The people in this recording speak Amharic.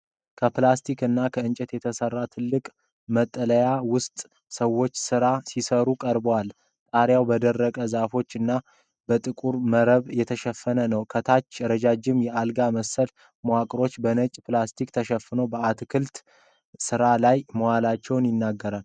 ከፕላስቲክ እና ከእንጨት በተሠራ ትልቅ መጠለያ ውስጥ ሰዎች ሥራ ሲሠሩ ቀርቧል። ጣሪያው በደረቅ ዛፎች እና በጥቁር መረብ የተሸፈነ ነው። ከታች ረዣዥም የአልጋ መሰል መዋቅሮች በነጭ ፕላስቲክ ተሸፍነው በአትክልት ሥራ ላይ መዋላቸውን ይናገራል።